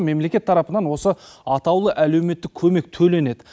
мемлекет тарапынан осы атаулы әлеуметтік көмек төленеді